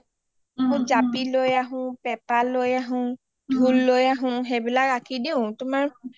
জাপি লৈ আহো পেপা লৈ আহো ঢোল লৈ আহো এইবিলাক আঁকি দিও তোমাৰ